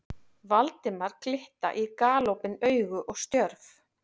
Valdimar glitta í galopin augu og stjörf.